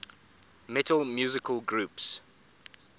metal musical groups